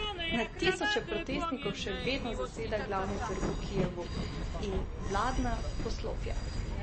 Na tisoče protestnikov še vedno zaseda glavni trg v Kijevu in vladna poslopja.